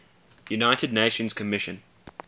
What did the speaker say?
united nations commission